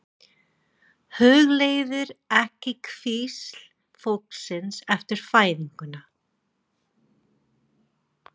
Hugleiðir ekki hvísl fólksins eftir fæðinguna.